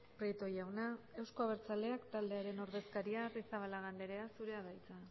prieto jauna euzko abertzaleak taldearen ordezkaria arrizabalaga andrea zure da hitza